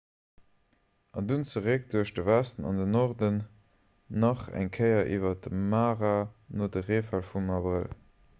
an dunn zeréck duerch de westen an den norden nach eng kéier iwwer de mara no de reefäll vum abrëll